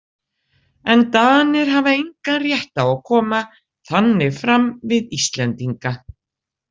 En Danir hafa engan rétt á að koma þannig fram við Íslendinga.